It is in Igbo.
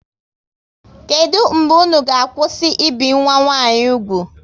Kedụ mgbe unu ga kwụsị ibi nwa nwanyi úgwù?